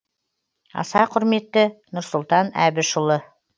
аса құрметті нұрсұлтан әбішұлы